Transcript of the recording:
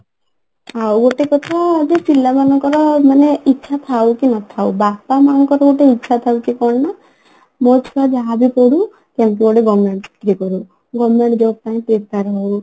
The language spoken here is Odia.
ଆଉ ଗୋଟେ କଥା ଯଉ ପିଲା ମାନଙ୍କର ମାନେ ଇଛା ଥାଉ କି ନଥାଉ ବାପା ମାଆଙ୍କର ଗୋଟେ ଇଛା ଥାଉଛି କଣ ନା ମୋ ଛୁଆ ଯାହାବି ପଢୁ କେମିତି ଗୋଟେ government ଇଏ କରୁ government job ପାଇଁ prepare ହଉ